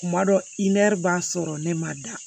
Kuma dɔ i nɛri b'a sɔrɔ ne ma da